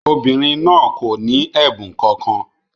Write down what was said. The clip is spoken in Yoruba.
Obìnrin náà kò ní ẹ̀bùn kankan.